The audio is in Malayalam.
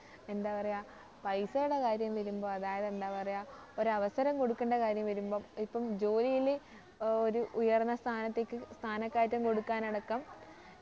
എന്താ പറയാ പൈസേടെ കാര്യം വരുമ്പോ അതായത് എന്താ പറയാ ഒരവസരം കൊടുക്കേണ്ട കാര്യം വരുമ്പം ഇപ്പം ജോലില് ഏർ ഒരു ഉയർന്ന സ്ഥാനത്തേക്ക് സ്ഥാനക്കയറ്റം കൊടുക്കാനടക്കം